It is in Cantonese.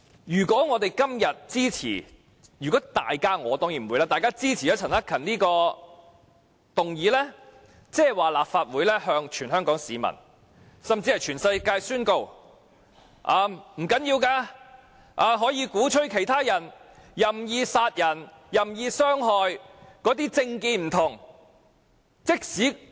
如果大家今天支持——我則一定不會支持——陳克勤議員提出的議案，便意味立法會向全港市民以至全世界宣告：這並不打緊，我們可以鼓吹其他人任意殺人和任意傷害不同政見人士。